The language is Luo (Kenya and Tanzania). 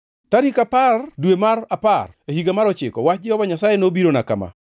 Tarik apar, dwe mar apar, e higa mar ochiko, wach Jehova Nyasaye nobirona kama: